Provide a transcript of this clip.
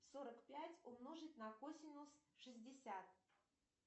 сорок пять умножить на косинус шестьдесят